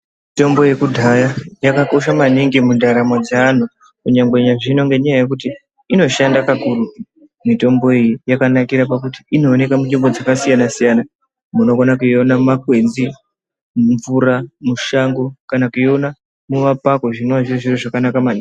Mitombo ye kudhaya yaka kosha maningi mu ndaramo dze anhu kunyangwe na zvino ngenya yekuti inoshanda ka kurutu mitombo iyi yakanakira pakuti ino oneka mu nzvimbo dzaka siyana siyana munomona kuiona muma kwenzi ,mu mvura mushango kana kuiona mu mapako zvinova zviri zviro zvaka naka maningi.